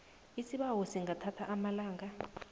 isibawo singathatha amalanga